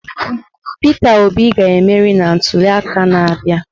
Peter Obi ga-emeri na ntuliaka na-abịa.